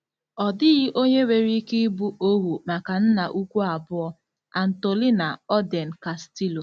Ọ dịghị onye nwere ike ịbụ ohu maka nna ukwu abụọ. - ANTOLINA ORDEN CASTILLO